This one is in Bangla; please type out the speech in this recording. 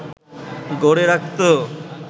গড়ে রাখত